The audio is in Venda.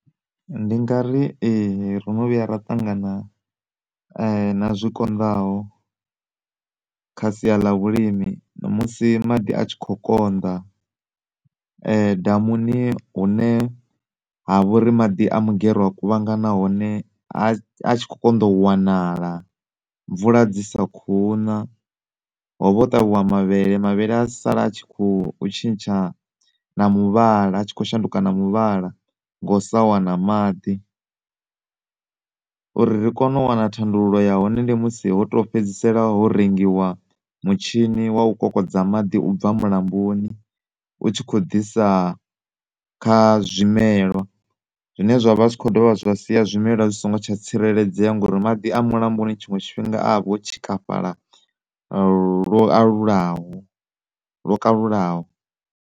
Ndi ngari ee, rono vhuya ra ṱangana na zwikonḓaho kha sia ḽa vhulimi musi maḓi a tshi kho konḓa damuni hune ha vha uri maḓi a mugero a kuvhangana hone a tshi kho konḓa u wanala, mvula dzi sa kho una. Ho vha ho ṱavhiwa mavhele, mavhele a sala a tshi kho tshintsha na muvhala a tshi kho shanduka na muvhala ngo sa wana maḓi. Uri ri kone u wana thandululo ya hone ndi musi hoto fhedzisela ho rengiwa mutshini wa u kokodza maḓi ubva mulamboni u tshi kho ḓisa kha zwimelwa zwine zwavha zwi kho dovha zwa sia zwimelwa zwi si ngo tsha tsireledzea ngori maḓi a mulamboni tshiṅwe tshifhinga avha o tshikafhala lwo alulaho lwo kalulaho.